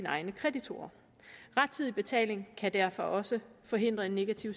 egne kreditorer rettidig betaling kan derfor også forhindre en negativ